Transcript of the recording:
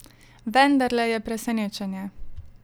Vendarle je presenečenje!